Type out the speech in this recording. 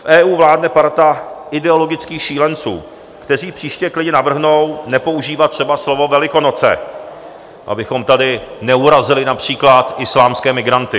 V EU vládne parta ideologických šílenců, kteří příště klidně navrhnou nepoužívat třeba slovo Velikonoce, abychom tady neurazili například islámské migranty.